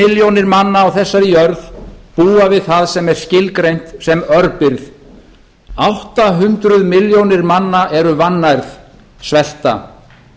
milljónir manna á þessari jörð búa við það sem er skilgreint sem örbirgð átta hundruð milljóna manna eru vannærð svelta